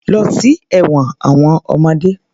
Lọ sí ẹ̀wọn àwọn ọmọdé.